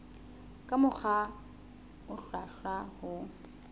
ka mokgwa o hlwahlwa ho